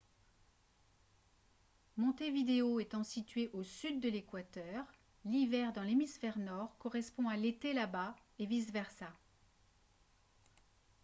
montevideo étant située au sud de l'équateur l'hiver dans l'hémisphère nord correspond à l'été là-bas et vice-versa